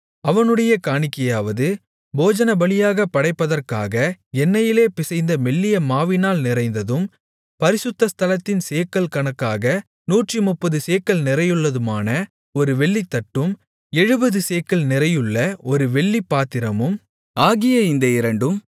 அவனுடைய காணிக்கையாவது போஜனபலியாகப் படைப்பதற்காக எண்ணெயிலே பிசைந்த மெல்லிய மாவினால் நிறைந்ததும் பரிசுத்த ஸ்தலத்தின் சேக்கல் கணக்காக நூற்றுமுப்பது சேக்கல் நிறையுள்ளதுமான ஒரு வெள்ளித்தட்டும் எழுபது சேக்கல் நிறையுள்ள ஒரு வெள்ளிப்பாத்திரமும் ஆகிய இந்த இரண்டும்